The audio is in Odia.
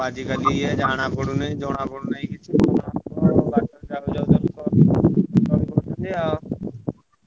ଆଜିକାଲି ଜାଣାପଡୁନି ଜଣାପଡୁନି କିଛି ।